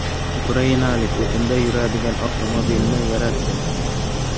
Ukrainalik o‘tinda yuradigan avtomobilni yaratdi .